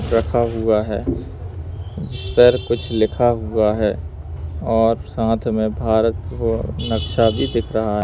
रखा हुआ है जिस पर कुछ लिखा हुआ है और साथ में भारत नक्शा भी दिख रहा है।